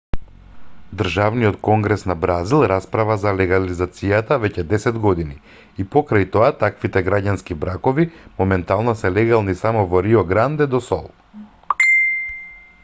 државниот конгрес на бразил расправа за легализацијата веќе десет години и покрај тоа таквите граѓански бракови моментално се легални само во рио гранде до сул